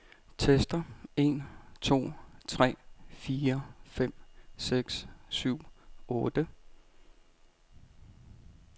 Tester en to tre fire fem seks syv otte.